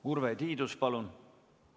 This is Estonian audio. Urve Tiidus, palun!